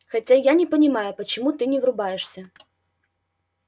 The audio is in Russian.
хотя я не понимаю почему ты не врубаешься